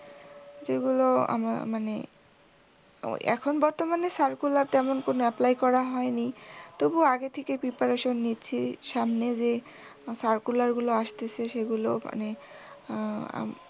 যেগুলো আমার মানে এখন বর্তমানে circular তেমন কোনও apply করা হয়নি। তবু আগে থেকে preparation নিচ্ছি সামনে যে circular গুলো আসতেছে সেগুলো মানে আহ